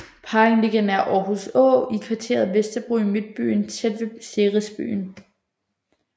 Parken ligger nær Aarhus Å i kvarteret Vesterbro i Midtbyen tæt ved CeresByen